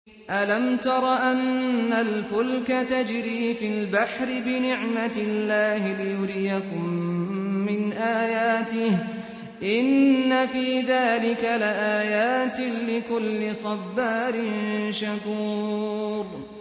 أَلَمْ تَرَ أَنَّ الْفُلْكَ تَجْرِي فِي الْبَحْرِ بِنِعْمَتِ اللَّهِ لِيُرِيَكُم مِّنْ آيَاتِهِ ۚ إِنَّ فِي ذَٰلِكَ لَآيَاتٍ لِّكُلِّ صَبَّارٍ شَكُورٍ